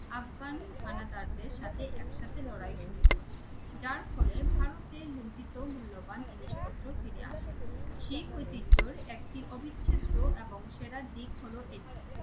আফগান হানাদারদের সাথে একসাথে লড়াই শুরু করে যার ফলে ভারতে লুন্ঠিত মূল্যবান জিনিসপত্র ফিরে আসে শিখ ঐতিহ্যের একটি অবিচ্ছেদ্য এবং সেরা দিক হলো এটি।